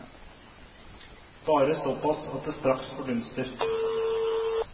Bare såpass at det straks fordunster.